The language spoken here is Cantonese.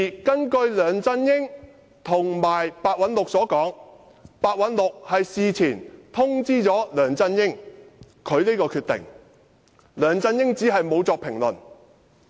據梁振英及白韞六所說，白韞六事前已通知梁振英他的決定，只是梁振英沒有作出評論。